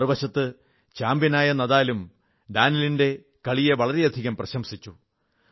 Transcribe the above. മറുവശത്ത് ചാമ്പന്യനായ നാദാലും ഡാനിലിന്റെ കളിയെ വളരെയധികം പ്രശംസിച്ചു